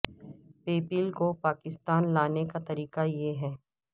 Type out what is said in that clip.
پے پیل کو پاکستان لانے کا طریقہ یہ ہے